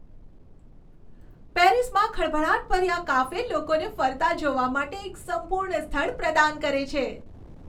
પેરિસમાં ખળભળાટભર્યા કાફે લોકોને ફરતા જોવા માટે એક સંપૂર્ણ સ્થળ પ્રદાન કરે છે.